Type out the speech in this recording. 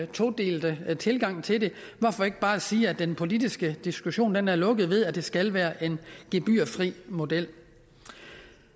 todelte tilgang til det hvorfor ikke bare sige at den politiske diskussion er lukket ved at det skal være en gebyrfri model